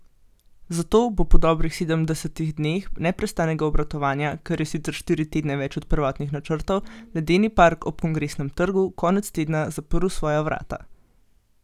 Zato bo po dobrih sedemdesetih dneh neprestanega obratovanja, kar je sicer štiri tedne več od prvotnih načrtov, ledeni park ob Kongresnem trgu konec tedna zaprl svoja vrata.